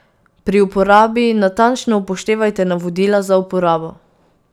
Pri uporabi natančno upoštevajte navodila za uporabo.